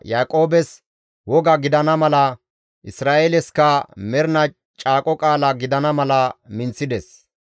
Yaaqoobes woga gidana mala, Isra7eelesikka mernaa caaqo qaala gidana mala minththides.